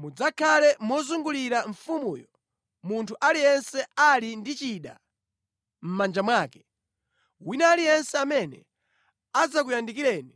Mudzakhale mozungulira mfumuyo, munthu aliyense ali ndi chida mʼmanja mwake. Wina aliyense amene adzakuyandikireni